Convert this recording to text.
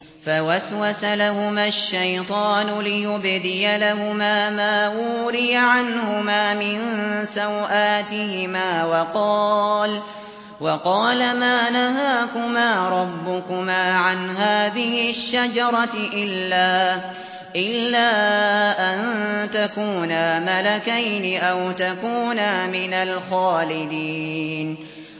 فَوَسْوَسَ لَهُمَا الشَّيْطَانُ لِيُبْدِيَ لَهُمَا مَا وُورِيَ عَنْهُمَا مِن سَوْآتِهِمَا وَقَالَ مَا نَهَاكُمَا رَبُّكُمَا عَنْ هَٰذِهِ الشَّجَرَةِ إِلَّا أَن تَكُونَا مَلَكَيْنِ أَوْ تَكُونَا مِنَ الْخَالِدِينَ